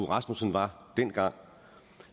rasmussen var dengang